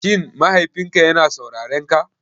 Shin mahaifinka yana saurarenka?